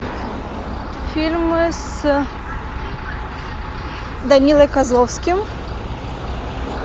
фильмы с данилой козловским